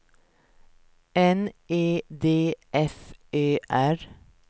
N E D F Ö R